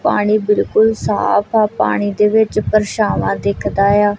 ਪਾਣੀ ਬਿਲਕੁਲ ਸਾਫ ਆ ਪਾਣੀ ਦੇ ਵਿੱਚ ਪਰਛਾਵਾਂ ਦਿੱਖ ਦਾ ਆ।